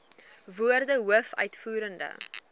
woorde hoof uitvoerende